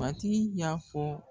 Matigi y'a fɔ